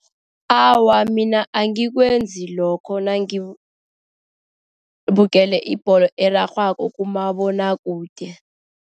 Awa, mina angikwenzi lokho nangibukele ibholo erarhwako kumabonwakude.